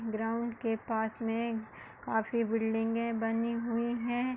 Ground के पास में काफी बिल्डिंगे बनी हुई हैं।